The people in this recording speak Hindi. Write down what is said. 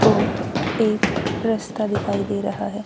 और एक रस्ता दिखाई दे रहा है।